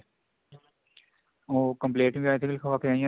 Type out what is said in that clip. ਉਹ compliant ਵੀ I think ਲਿਖਵਾ ਕੇ ਆਈਆਂ